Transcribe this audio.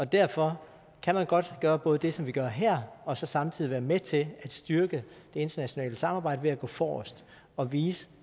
derfor kan man godt gøre både det som vi gør her og så samtidig være med til at styrke det internationale samarbejde ved at gå forrest og vise